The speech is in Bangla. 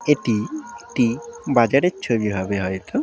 এটি টি বাজারের ছবি হবে হয়তো।